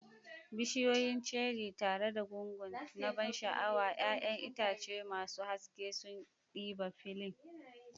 Bishiyoyin cherries tare da gungu na ban sha'awa, 'ya'yan itace masu haske sun ɗiba filin.